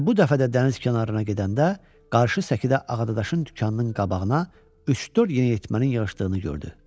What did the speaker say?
Və bu dəfə də dəniz kənarına gedəndə qarşı səkidə Ağadadaşın dükanının qabağına üç-dörd yeniyetmənin yığışdığını gördü.